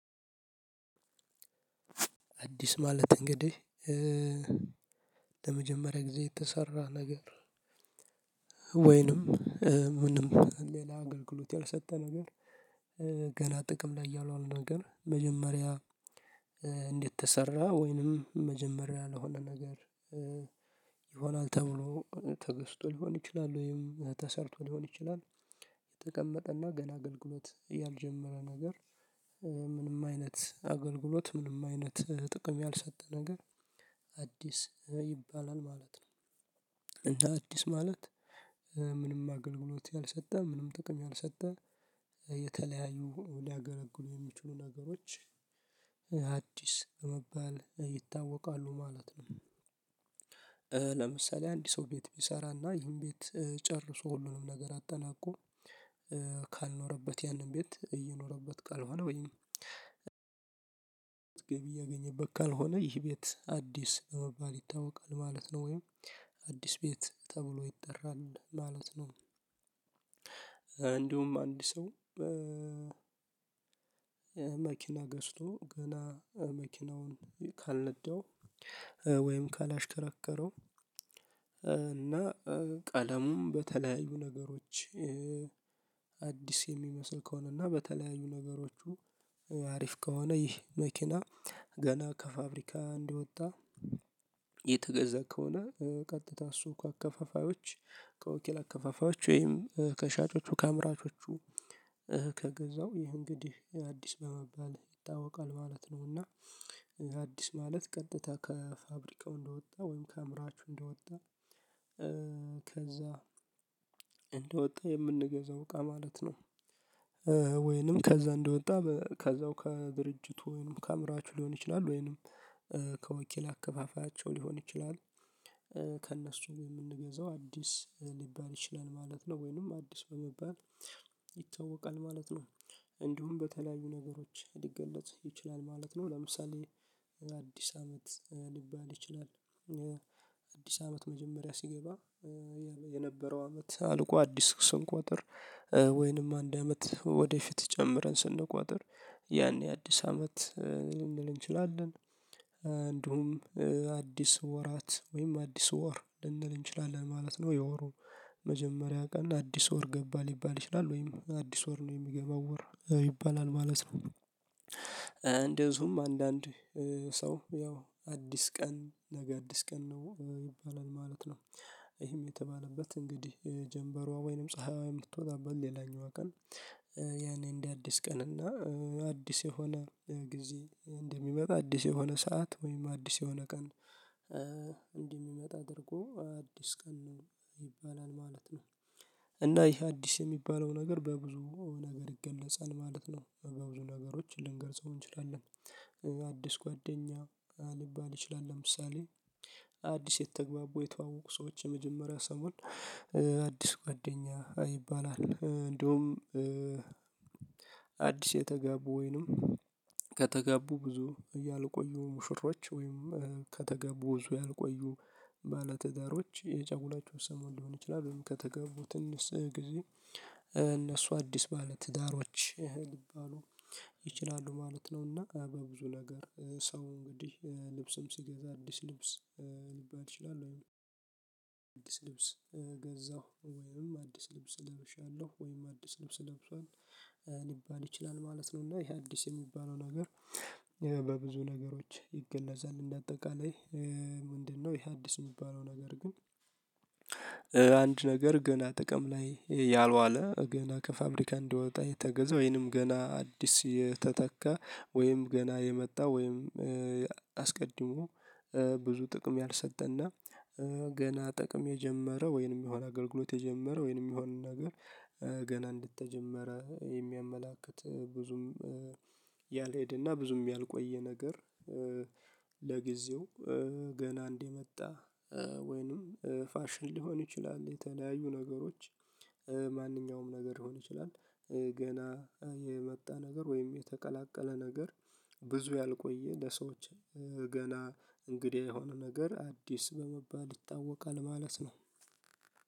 አዲስ ማለት እንግዲህ ለመጀመሪያ ጊዜ የተሰራ ነገር ወይንም ምንም ሌላ አገልግሎት ያልሰጠ ነገር ገና ጥቅም ላይ ያልዋለ ነገር መጀመሪያ እንዴት ተሰራ ወይንም መጀመሪያ ለሆነ ነገር ይሆናል ተብሎ ተገዝቶ ሊሆን ይችላል ወይም ተሰርቶ ሊሆን ይችላል የተቀመጠ እና ገና አገልግሎት ያልጀመረ ነገር ምንም አይነት አገልግሎት ምንም አይነት ጥቅም ያልሰጠ ነገር አዲስ ይባላል። ማለት ነው እንደ አዲስ ማለት ምንም አገልግሎት ያልሰጠ ምንም ጥቅም ያልሰጠ የተለያዩ ሊያገለግሉ የሚችሉ ነገሮች አዲስ በመባል ይታወቃሉ ማለት ነው። ለምሳሌ አንድ ሰው ቤት ቢሰራና ይህን ቤት ጨርሶ ሁሉንም ነገር አጠናቆ ካልኖረበት ያንን ቤት እየኖረበት ካልሆነ ወይም ገቢ እያገኘበት ካልሆነ ይህ ቤት አዲስ በመባል ይታወቃል ማለት ነው ወይም አዲስ ቤት ተብሎ ይጠራል ማለት ነው። እንዲሁም አንድ ሰው በ መኪና ገዝቶ ገና መኪናውን ካልነዳው ወይም ካላሽከረከረው እና ቀለሙም በተለያዩ ነገሮች አዲስ የሚመስል ከሆነና በተለያዩ ነገሮቹ አሪፍ ከሆነ ይህ መኪና ገና ከፋብሪካ እንደወጣ የተገዛ ከሆነ ቀጥታ ሱቅ አከፋፋዮች ከወኪል አከፋፋዮች ወይም ከሻጮቹ ከአምራቾቹ ከገዛው ይህ እንግዲህ አዲስ በመባል ይታወቃል ማለት ነው። እና አዲስ ማለት ቀጥታ ከፋብሪካው እንደወጣ ወይም ከአምራችሁ እንደወጣ እ ከዛ እንደወጣ የምንገዛው እቃ ማለት ነው። ወይንም ከዛ እንደወጣ ከዛው ከድርጅቱ ወይንም ከአምራችሁ ሊሆን ይችላል ወይንም ከወኪል አከፋፋያቸው ሊሆን ይችላል ከእነሱ የምንገዛው አዲስ ሊባል ይችላል ማለት ነው ወይንም አዲስ በመባል ይታወቃል ማለት ነው። እንዲሁም በተለያዩ ነገሮች ሊገለጥ ይችላል ማለት ነው ለምሳሌ አዲስ አመት ሊባል ይችላል አዲስ አመት መጀመሪያ ሲገባ የነበረው አመት አልቆ አዲስ ስንቆጥር ወይንም አንድ አመት ወደፊት ጨምረን ስንቆጥር ያኔ አዲስ አመት ልንል እንችላለን እንዲሁም አዲስ ወራት ወይም አዲስ ወር ልንል እንችላለን ማለት ነው የወሩ መጀመሪያ ቀን አዲስ ወር ገባ ሊባል ይችላል ወይም አዲስ ወር ነው የሚገባው ወር ይባላል ማለት ነው። እንደዚሁም አንዳንድ ሰው ያው አዲስ ቀን ነገ አዲስ ቀን ነው ይባላል ማለት ነው። ይህም የተባለበት እንግዲህ ጀምበሯ ወይንም ፀሀይዋ የምትወጣበት ሌላኛዋ ቀን ያኔ እንደ አዲስ ቀን እና አዲስ የሆነ ጊዜ እንደሚመጣ አዲስ የሆነ ሰዓት ወይም አዲስ የሆነ ቀን እንደሚመጣ አድርጎ አዲስ ቀን ነው ይባላል ማለት ነው። እና ይሄ አዲስ የሚባለው ነገር በብዙ ነገር ይገለፃል ማለት ነው በብዙ ነገሮች ልንገልጸው እንችላለን አዲስ ጓደኛ ሊባል ይችላል ለምሳሌ አዲስ የተግባቡ የተዋወቁ ሰዎች የመጀመሪያ ሰሞን አዲስ ጓደኛ ይባላል። እንደውም አዲስ የተጋቡ ወይንም ከተጋቡ ብዙ ያልቆዩ ሙሽሮች ወይም ከተጋቡ ብዙ ያልቆዩ ባለትዳሮች የጨጉላቸው ሰሞን ሊሆን ይችላል ከተጋቡ ትንሽ ጊዜ እነሱ አዲስ ባለ ትዳሮች ሊባሉ ይችላሉ ማለት ነው። እና በብዙ ነገር ሰው እንግዲህ ልብስም ሲገዛ አዲስ ልብስ ሊባል ይችላል ወይም አዲስ ልብስ ገዛሁ ወይም አዲስ ልብስ ለብሻለሁ ወይም አዲስ ልብስ ለብሷል ሊባል ይችላል ማለት ነው። እና ይሄ አዲስ የሚባለው ነገር በብዙ ነገሮች ይገለፃል እንደ አጠቃላይ ምንድነው? ይሄ አዲስ የሚባለው ነገር ግን አንድ ነገር ገና ጥቅም ላይ ያልዋለ ገና ከፋብሪካ እንዲወጣ የተገዛው ወይም ገና አዲስ የተተካ ወይም ገና የመጣ ወይም አስቀድሞ ብዙ ጥቅም ያልሰጠና ገና ጥቅም የጀመረ ወይንም የሆነ አገልግሎት የጀመረ ወይንም የሆነ ነገር ገና እንደተጀመረ የሚያመላክት ብዙም ያልሄደና ብዙም ያልቆየ ነገር። ለጊዜው ገና እንደመጣ ወይንም ፋሽን ሊሆን ይችላል የተለያዩ ነገሮች ማንኛውም ነገር ሊሆን ይችላል። ገና የመጣ ነገር ወይም የተቀላቀለ ነገር ብዙ ያልቆየ ለሰዎች ገና እንግዳ የሆነ ነገር አዲስ በመባል ይታወቃል ማለት ነው